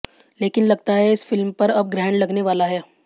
लेकिन लगता है इस फिल्म पर अब ग्रहण लगने वाला है